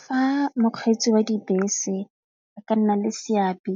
Fa mokgweetsi wa dibese ba ka nna le seabe